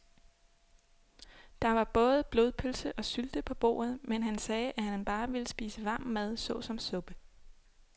Der var både blodpølse og sylte på bordet, men han sagde, at han bare ville spise varm mad såsom suppe.